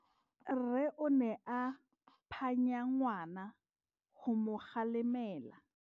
Rre o ne a phanya ngwana go mo galemela.